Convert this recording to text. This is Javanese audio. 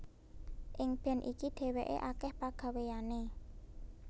Ing band iki dhéwéké akèh pagawéyané